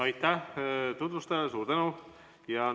Aitäh tutvustajale, suur tänu!